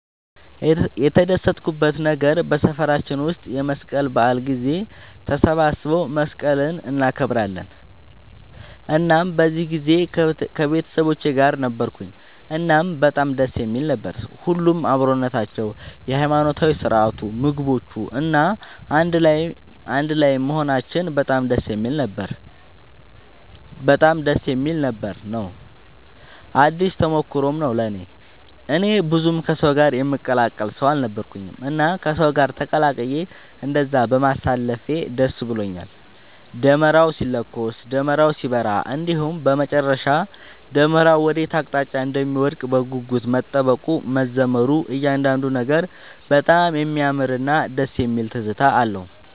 የተደሰትኩበት ነገር በሰፈራችን ውስጥ የመስቀል በዓል ጊዜ ተሰባስበው መስቀልን እናከብራለን እናም በዚህ ጊዜ ከቤተሰቦቼ ጋር ነበርኩኝ እናም በጣም ደስ የሚል ነበር። ሁሉም አብሮነታቸው፣ የሃይማኖታዊ ስርዓቱ፣ ምግቦቹ፣ እና አንድ ላይም መሆናችን በጣም ደስ የሚል ነበር ነው። አዲስ ተሞክሮም ነው ለእኔ። እኔ ብዙም ከሰው ጋር የምቀላቀል ሰው አልነበርኩኝም እና ከሰው ጋር ተቀላቅዬ እንደዛ በማሳለፌ ደስ ብሎኛል። ደመራው ሲለኮስ፣ ደመራው ሲበራ እንዲሁም በመጨረሻ ደመራው ወዴት አቅጣጫ እንደሚወድቅ በጉጉት መጠበቁ፣ መዘመሩ እያንዳንዱ ነገር በጣም የሚያምርና ደስ የሚል ትዝታ ነው።